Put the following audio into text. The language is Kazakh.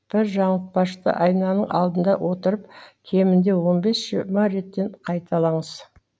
бір жаңылтпашты айнаның алдында отырып кемінде он бес жиырма реттен қайталаңыз